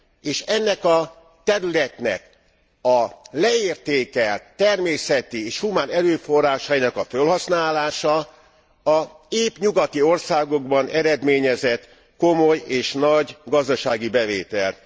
és ennek a területnek a leértékelt természeti és humán erőforrásainak a fölhasználása a nyugati országokban eredményezett komoly és nagy gazdasági bevételt.